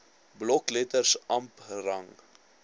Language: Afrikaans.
blokletters amp rang